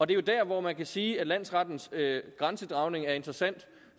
det er der hvor man kan sige at landsrettens grænsedragning er interessant